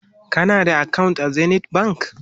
kana da akawunt a zenith bank?